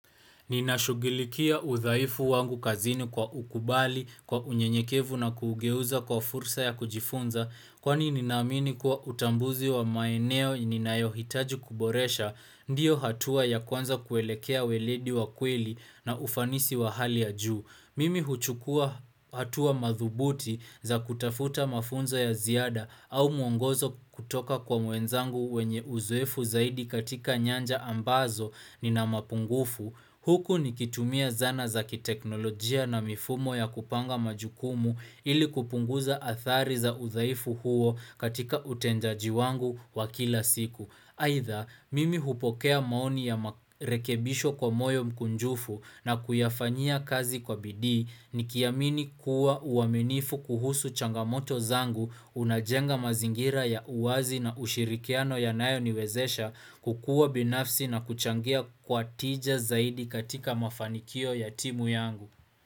Ninashugulikia udhaifu wangu kazini kwa kukubali kwa unyenyekevu na kugeuza kwa fursa ya kujifunza Kwani ninaamini kuwa utambuzi wa maeneo ninayohitaji kuboresha ndiyo hatua ya kwanza kuelekea weledi wa kweli na ufanisi wa hali ya juu Mimi huchukua hatua madhubuti za kutafuta mafunzo ya ziada au mwongozo kutoka kwa wenzangu wenye uzoefu zaidi katika nyanja ambazo ninamapungufu Huku nikitumia zana za kiteknolojia na mifumo ya kupanga majukumu ili kupunguza athari za uzaifu huo katika utenjaji wangu wa kila siku. Aitha, mimi hupokea maoni ya marekebisho kwa moyo mkunjufu na kuyafanyia kazi kwa bidii nikiamini kuwa uaminifu kuhusu changamoto zangu unajenga mazingira ya uwazi na ushirikiano yanayo niwezesha kukua binafsi na kuchangia kwa tija zaidi katika mafanikio ya timu yangu.